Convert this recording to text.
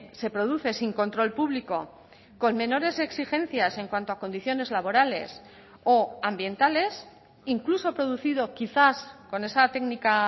se produce sin control público con menores exigencias en cuanto a condiciones laborales o ambientales incluso producido quizás con esa técnica